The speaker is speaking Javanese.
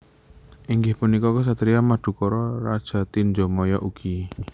Inggih punika Ksatria Madukara raja Tinjomaya ugi